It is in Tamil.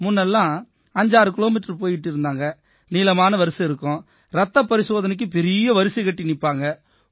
முன்ன எல்லாம் 56 கிலோமீட்டர் தூரம் பயணம் செஞ்சு போயிக்கிட்டு இருந்தாங்க நீளமான வரிசை இருக்கும் ரத்த பரிசோதனைக்கு பெரிய வரிசை கட்டி நிப்பாங்க